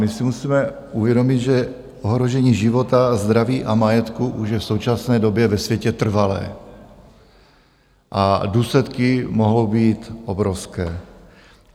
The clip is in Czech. My si musíme uvědomit, že ohrožení života, zdraví a majetku už je v současné době ve světě trvalé, a důsledky mohou být obrovské.